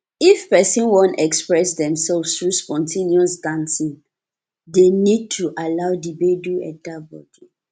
if person wan express themselves through spon ten ous dancing dem need to allow di gbedu enter bodi